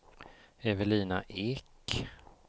Evelina Ek